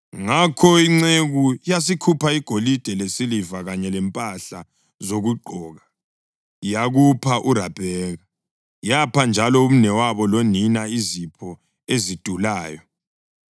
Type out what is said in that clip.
Ngakho inceku yasikhupha igolide lesiliva kanye lempahla zokugqoka yakupha uRabheka; yapha njalo umnewabo lonina izipho ezidulayo.